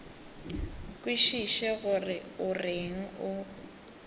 kwešiše gore o reng o